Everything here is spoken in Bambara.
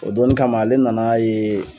O donnin kama ale nan'a ye